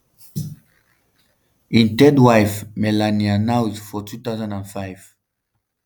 im third wife melania knauss for 2005.